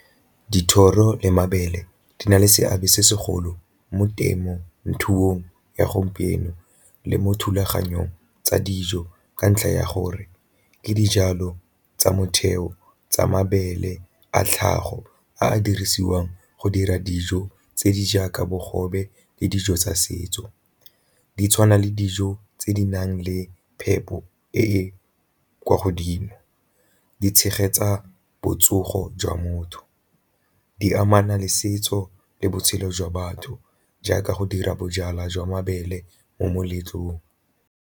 Dithoro le mabele di na le seabe se segolo mo temothuong ya gompieno le mo thulaganyong tsa dijo ka ntlha ya gore ke dijalo tsa motheo tsa mabele a tlhago a a dirisiwang go dira dijo tse di jaaka bogobe le dijo tsa setso. Di tshwana le dijo tse di nang le phepo e e kwa godimo, di tshegetsa botsogo jwa motho, di amana le setso le botshelo jwa batho jaaka go dira bojalwa jwa mabele mo moletlong.